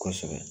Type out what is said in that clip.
Kosɛbɛ